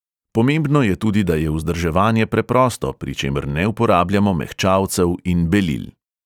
Pomembno je tudi, da je vzdrževanje preprosto, pri čemer ne uporabljamo mehčalcev in belil.